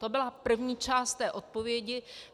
To byla první část té odpovědi.